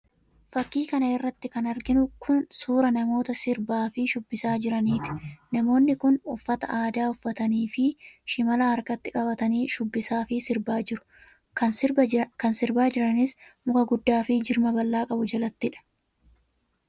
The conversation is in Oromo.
Fakkii kana irratti kan arginu kun, suura namoota sirbaa fi shubbisaa jiraniiti. Namoonni kun, uffata aadaa uffatanii fi shimala harkatti qabatanii shubbisaa fi sirbaa jiru. Kan sirbaa jiraniis muka guddaa fi jirma bal'aa qabu jalattiidha.